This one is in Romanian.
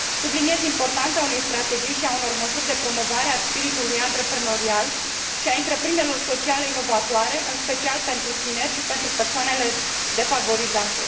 Subliniez importanța unei strategii și a unor măsuri de promovare a spiritului antreprenorial și a întreprinderilor sociale inovatoare, în special pentru tineri și pentru persoanele defavorizate.